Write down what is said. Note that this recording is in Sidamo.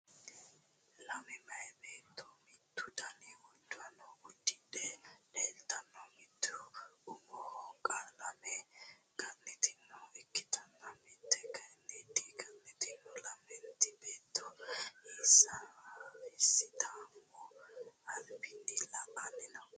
lame meyaa beetto mittu dani uddano uddidhe leltanno mitte umoho qalame ga'nitinota ikkitanna mitte kyiinni di ga'nitino, lamenti beetto hisataamu albinni la''anni no.